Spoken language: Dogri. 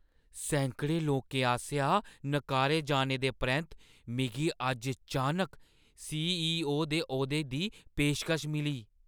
सैकड़ें लोकें आसेआ नकारे जाने दे परैंत्त, मिगी अज्ज चानक सी.ई.ओ. दे औह्दे दी पेशकश मिली।